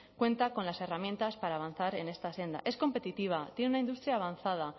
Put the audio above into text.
cuenta con las herramientas para avanzar en esta senda es competitiva tiene una industria avanzada